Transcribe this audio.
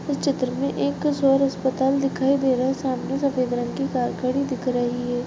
इस चित्र में एक स्वर अस्पताल दिखाई दे रहा है सामने सफेद रंग की कार खड़ी दिख रही है।